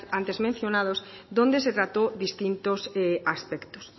antes mencionados donde se trató distintos aspectos